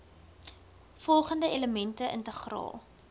volgende elemente integraal